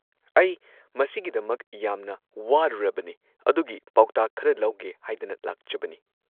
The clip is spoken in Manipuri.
ꯑꯩ ꯃꯁꯤꯒꯤꯗꯃꯛ ꯌꯥꯝꯅ ꯋꯥꯔꯨꯔꯕꯅꯦ, ꯑꯗꯨꯒꯤ ꯄꯥꯎꯇꯥꯛ ꯈꯔ ꯂꯧꯒꯦ ꯍꯥꯏꯗꯅ ꯂꯥꯛꯆꯕꯅꯦ꯫